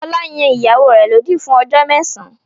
Fọlá yan ìyàwó rẹ̀ lódì fún ọjọ́ mẹ́sàn-án.